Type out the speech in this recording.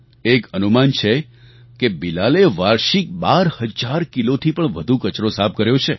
એક અનુમાન છે કે બિલાલે વાર્ષિક ૧૨ હજાર કિલોથી પણ વધુ કચરો સાફ કર્યો છે